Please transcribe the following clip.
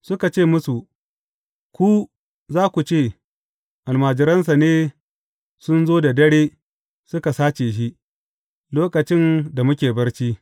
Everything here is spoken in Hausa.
Suka ce musu, Ku, za ku ce, Almajiransa ne sun zo da dare suka sace shi, lokacin da muke barci.’